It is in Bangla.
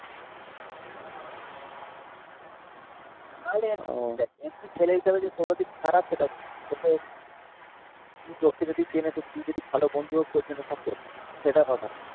তাহলে এমনি ও এমনি ছেলে হিসাবে যে সৌরদীপ খারাপ সেটা বলব না. তোকে তুমি তোকে যদি চেনে তো তুই যদি ভালো বন্ধু হোস, তোর জন্য সব করবে. সেটা কথা না